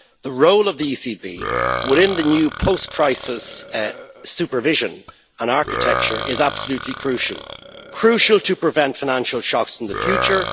The role of the ECB within the new post crisis supervision and architecture is absolutely crucial crucial to prevent financial shocks in the future